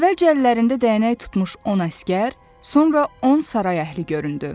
Əvvəlcə əllərində dəyənək tutmuş 10 əsgər, sonra 10 saray əhli göründü.